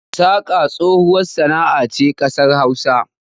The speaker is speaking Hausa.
Saƙa tsohuwar sana'a ce a ƙasar Hausa.